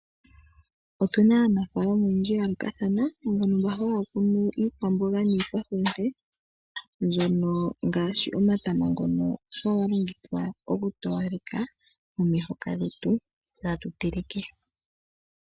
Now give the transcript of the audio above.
Otuna aanafaalama oyendji ya yoolokathana, mbono mba haya kunu iikwamboga niikwahulute mbyono ngaashi omatama ngono haga longithwa oku towaleka omihoka dhetu dhi tatu teleke.